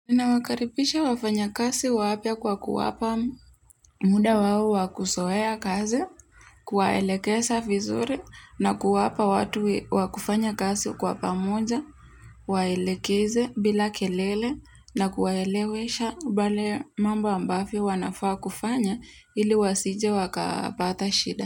Ninawakaribisha wafanya kazi wapya kwa kuwapa muda wa wa kuzoea kazi, kuwaelekeza vizuri na kuwapa watu wakufanya kazi kwa pamoja, waelekeze bila kelele na kuwaelewesha mbali mambo ambavyo wanafaa kufanya ili wasije wakapata shida.